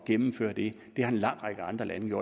gennemføre det det har en lang række andre lande